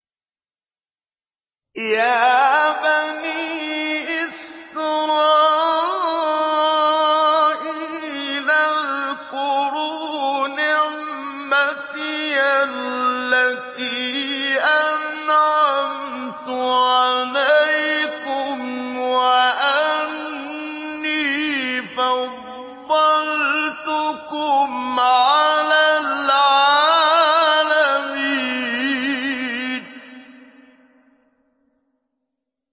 يَا بَنِي إِسْرَائِيلَ اذْكُرُوا نِعْمَتِيَ الَّتِي أَنْعَمْتُ عَلَيْكُمْ وَأَنِّي فَضَّلْتُكُمْ عَلَى الْعَالَمِينَ